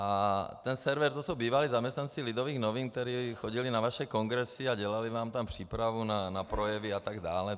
A ten server, to jsou bývalí zaměstnanci Lidových novin, kteří chodili na vaše kongresy a dělali vám tam přípravu na projevy atd.